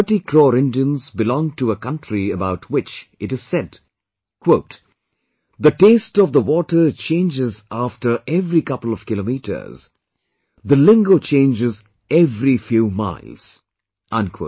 130 crore Indians belong to a country about which it is said, "The taste of the water changes after every couple of kilometers, the lingo changes every few miles